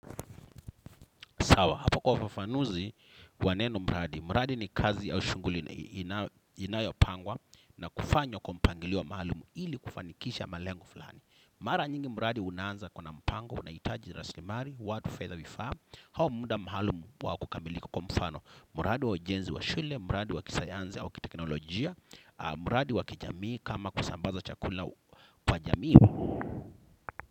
Sawa, hapa kwa ufafanuzi kwa neno mradi. Mradi ni kazi au shughuli inayopangwa na kufanywa kwa mpangilio maalumu ili kufanikisha malengo fulani. Mara nyingi mradi unaanza kwa na mpango, unaitaji rasimari, watu fedha vifaa. Hau muda maalumu wa kukamilika kwa mfano. Mradi wa ujenzi wa shule, mradi wa kisayanzi au kitekinolojia, mradi wa kijamii kama kusambaza chakula kwa jamii.